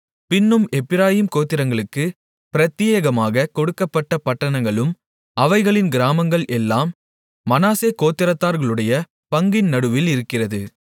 பின்னும் எப்பிராயீம் கோத்திரத்தார்களுக்குப் பிரத்தியேகமாகக் கொடுக்கப்பட்ட பட்டணங்களும் அவைகளின் கிராமங்கள் எல்லாம் மனாசே கோத்திரத்தார்களுடைய பங்கின் நடுவில் இருக்கிறது